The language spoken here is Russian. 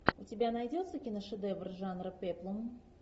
у тебя найдется киношедевр жанра пеплум